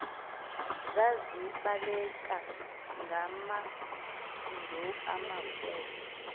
zazibaleka ngamendu amakhulu